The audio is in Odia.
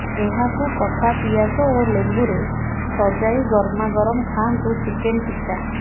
ଏହାକୁ କଟା ପିଆଜ ଓ ଲେମ୍ବୁରେ ସଜାଇ ଗରମାଗରମ ଖାଆନ୍ତୁ ଚିକେନ ଟିକ୍କା